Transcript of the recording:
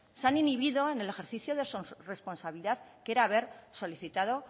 se ha inhibido en el ejercicio de su responsabilidad que era haber solicitado o